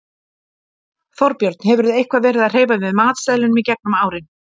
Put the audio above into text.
Þorbjörn: Hefurðu eitthvað verið að hreyfa við matseðlinum í gegnum árin?